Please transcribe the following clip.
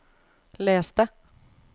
les det